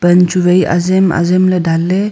pan chu vai azem azem ley dan ley.